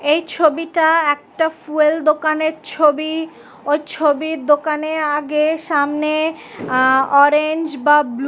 এই ছবিটা একটা ফুয়েল দোকানের ছবি। ওই ছবির দোকানে আগে সামনে আ অরেঞ্জ বা ব্লু --